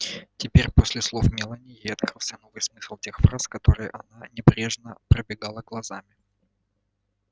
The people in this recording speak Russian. теперь после слов мелани ей открылся новый смысл тех фраз которые она небрежно пробегала глазами